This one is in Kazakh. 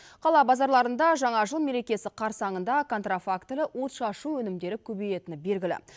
қала базарларында жаңа жыл мерекесі қарсаңында контрафактілі отшашу өнімдері көбейетіні белгілі